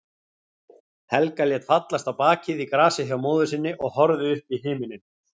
Helga lét fallast á bakið í grasið hjá móður sinni og horfði upp í himininn.